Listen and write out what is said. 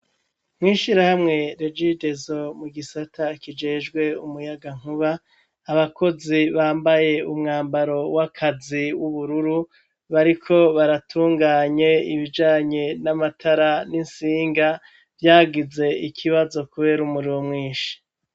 Mw'ishirahamwe REGIDESO mu gisata kijejwe umuyagankuba, abakozi bambaye umwambaro w'akazi w'ubururu, bariko baratunganye ibijanye n'amatara n'insinga vyagize ikibazo kubera umuriro mwinshi.